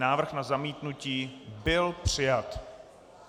Návrh na zamítnutí byl přijat.